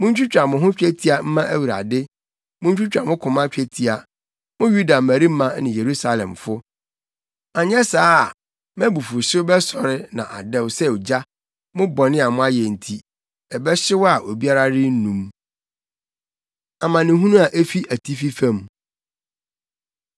Muntwitwa mo ho twetia mma Awurade muntwitwa mo koma twetia, mo Yuda mmarima ne Yerusalemfo, anyɛ saa a mʼabufuwhyew bɛsɔre na adɛw sɛ ogya mo bɔne a moayɛ nti, ɛbɛhyew a obiara rennum.” Amanehunu A Efi Atifi Fam